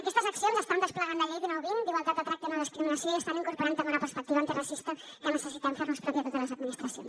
aquestes accions estan desplegant la llei dinou dos mil vint d’igualtat de tracte i nodiscriminació i estan incorporant també una perspectiva antiracista que necessitem fernos pròpia totes les administracions